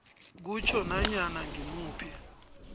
kutjho nanyana ngimuphi